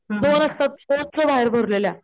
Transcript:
दोन असतात गच्चं बाहेर भरलेल्या,